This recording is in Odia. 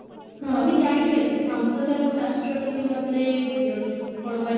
ତମେ ଜାଣିଛ କି ସଂସଦ ଏବଂ ରାଷ୍ଟ୍ରପତି ମଧ୍ୟରେ କଣ କୁହାହେଇଛି